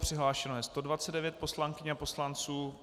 Přihlášeno je 129 poslankyň a poslanců.